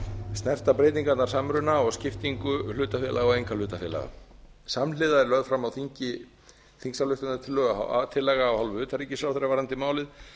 snerta breytingarnar samruna og skiptingu hlutafélaga og einkahlutafélaga samhliða er lögð fram á þingi þingsályktunartillaga af hálfu utanríkisráðherra varðandi málið